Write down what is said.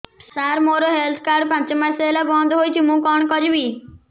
ସାର ମୋର health card ପାଞ୍ଚ ମାସ ହେଲା ବଂଦ ହୋଇଛି ମୁଁ କଣ କରିବି